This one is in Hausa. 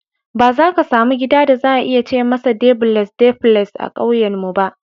Ba za ka samu gida da za a iya ce masa Debules (duplex) a ƙauyenmu ba.